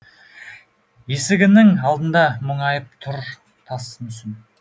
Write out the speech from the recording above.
есігіңнің алдында мұңайып тұр тас мүсін